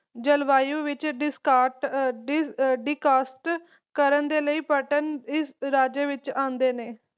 ਜਲ ਵਾਯੂ ਵਿਚ de~decast ਕਰਨ ਦੇ ਲਈ ਇਸ ਰਾਜ੍ਯ ਵਿਚ ਆਉਂਦੇ ਨੇ